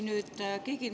Ma küsingi.